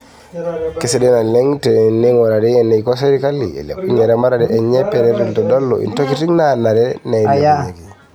Kesidai naleng teneingurari eneiko serkali eilepunye eramatare enye peret eitodolu intokitin naanare neilepunyeki.